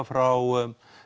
frá